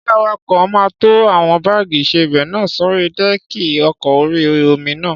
Ṣé awakọ̀ máa tó àwọn báàgì ìsebẹ̀ náà sórí dẹ́ẹ̀kì ọkọ̀ orí-omi náà?